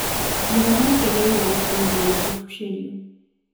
Gĩthomo nĩ kĩagĩrĩĩre gũkorũo beĩ ya kũbusherĩo